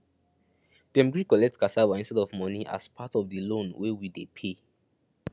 dem gree collect cassava instead of money as part of the loan wey we dey pay